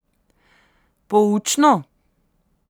Poučno?